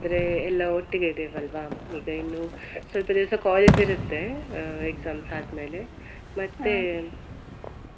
ನಾವಾದ್ರೆ ಎಲ್ಲ ಒಟ್ಟಿಗೆ ಇದೇವಲ್ವಾ. ಈಗ ಇನ್ನು ಸ್ವಲ್ಪ ದಿವ್ಸ college ಇರುತ್ತೆ ಅಹ್ exam ಆದ್ಮೇಲೆ .